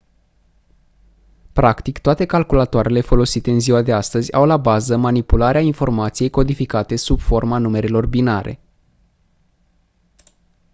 practic toate calculatoarele folosite în ziua de astăzi au la bază manipularea informației codificate sub forma numerelor binare